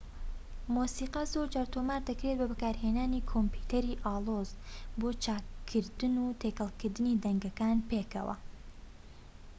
مۆسیقا زۆرجار تۆمار دەکرێت بە بەکارهێنانی کۆمپیوتەری ئالۆز بۆ چاککردن و تێکەڵکردنی دەنگەکان پێکەوە